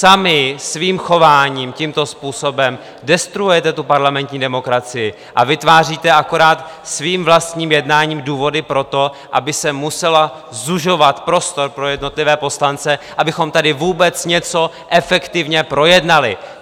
Sami svým chováním tímto způsobem destruujete tu parlamentní demokracii a vytváříte akorát svým vlastním jednáním důvody pro to, aby se musel zužovat prostor pro jednotlivé poslance, abychom tady vůbec něco efektivně projednali!